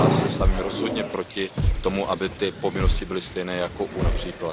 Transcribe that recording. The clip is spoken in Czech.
Já se stavím rozhodně proti tomu, aby ty povinnosti byly stejné jako u např.